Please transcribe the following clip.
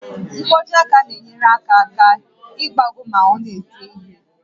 Nkwojiaka na-enyere aka aka ịgbagọ ma ọ na-ede ihe